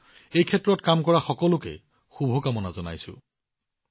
মই এই ক্ষেত্ৰত কাম কৰা সকলোকে শুভেচ্ছা জনাইছো